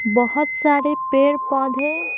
बोहोत सारे पेड़-पौधे --